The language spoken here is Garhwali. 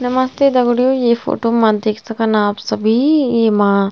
नमस्ते दगड़ियों इं फोटो मा देख सकन आप सभी ईमा --